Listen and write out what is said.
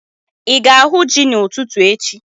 Ị ga-ahu ji n'ụtụtụ echi?